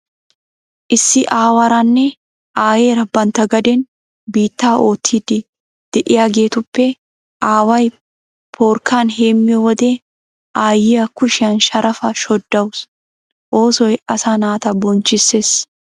Issi aawaranne aayeera bantta gaden biittaa oottiiddi de'iyageetuppe aaway porkkan hem"iyo wode aayyiya kushiyan sharafaa shoddawusu. Oosoy asaa naata bonchchissees.